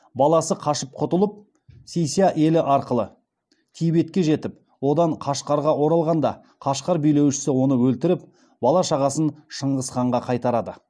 баласы қашып құтылып си ся елі арқылы тибетке жетіп одан қашқарға оралғанда қашқар билеушісі оны өлтіріп бала шағасын шыңғыс ханға қайтарды